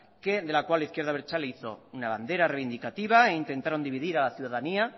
que de la cual la izquierda abertzale hizo una bandera reivindicativa e intentaron dividir a la ciudadanía